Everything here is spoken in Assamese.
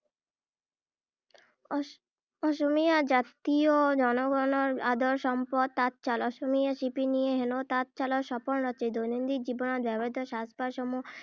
আহ অসমীয়া জাতিৰ জন গনৰ আদৰৰ সম্পদ তাঁতশাল। অসমীয়া শিপীনীয়ে হেনো তাঁত শালতে সপোন ৰচে। দৈনন্দিন জীৱনত ব্যৱহৃত সাজ পাৰসমূহ